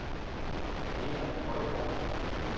Erik Højgaard